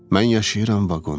Mən yaşayıram vaqonda.